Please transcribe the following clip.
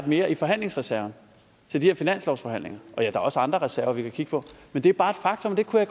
mere i forhandlingsreserven til de her finanslovsforhandlinger og der er også andre reserver vi kan kigge på men det er bare et faktum det kunne